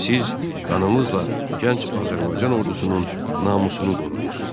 Siz qanınızla gənc Azərbaycan ordusunun namusunu qorudunuz.